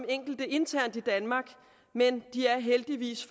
enkelte internt i danmark men de er heldigvis